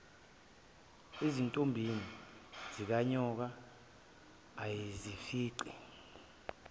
ezintombini zikanyoka ayezifica